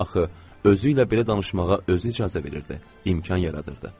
Axı özü ilə belə danışmağa özü icazə verirdi, imkan yaradırdı.